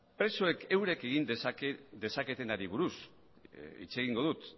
presoek eurek egin dezaketenari buruz hitz egingo dut